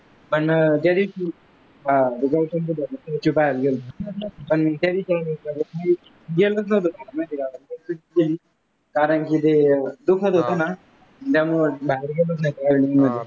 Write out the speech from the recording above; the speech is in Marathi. पण त्यादिवशी आह गौतम बुद्धाचं statue पाहायला गेलतो, पण त्यादिवशी गेलोच नव्हतो माहीत आहे का? कारण की ते धुकंच होतं ना? त्यामुळे बाहेर नाहीच गेलो फिरायला?